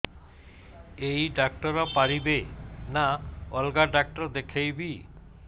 ଏଇ ଡ଼ାକ୍ତର ପାରିବେ ନା ଅଲଗା ଡ଼ାକ୍ତର ଦେଖେଇବି